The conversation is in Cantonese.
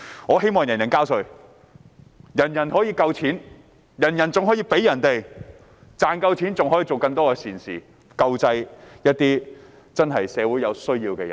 我希望人人交稅，人人都有足夠的錢，更可以為別人付出，可以做更多善事，救濟社會上有需要的人。